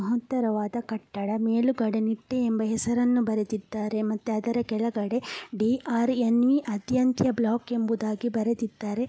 ಮಹತ್ತರವಾದ ಕಟ್ಟಡ ಮೇಲುಗಡೆ ಎನ್.ಐ.ಟಿ.ಟಿ.ಇ. ಎಂಬ ಹೆಸರು ಬರೆದಿದ್ದಾರೆ ಮತ್ತೆ ಅದರ ಕೆಳಗಡೆ ಡಿ.ರ್.ಎನ್. ಅತ್ಯಂತ ಬ್ಲಾಕ್ ಎಂಬುದಾಗಿ ಬರೆದಿದ್ದರೆ.